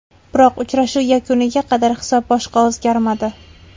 Biroq uchrashuv yakuniga qadar hisob boshqa o‘zgarmadi.